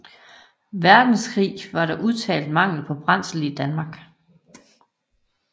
Verdenskrig var der udtalt mangel på brændsel i Danmark